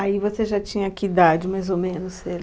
Aí você já tinha que idade, mais ou menos?